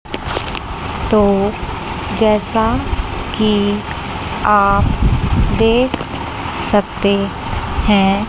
तो जैसा कि आप देख सकते हैं।